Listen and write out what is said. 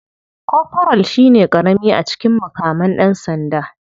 Koforal shine karami a cikin mukaman dan sanda.